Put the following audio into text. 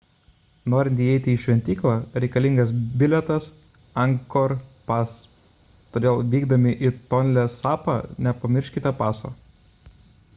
norint įeiti į šventyklą reikalingas bilietas angkor pass todėl vykdami į tonle sapą nepamirškite paso